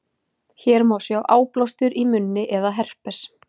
Hér má sjá áblástur í munni eða herpes.